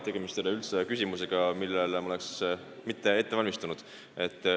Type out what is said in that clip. Tegemist ei ole üldse küsimusega, millele vastamiseks ma ei oleks ette valmistanud.